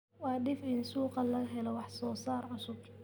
Waa dhif in suuqa laga helo wax soo saar cusub.